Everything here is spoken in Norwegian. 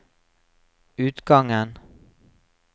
utgangen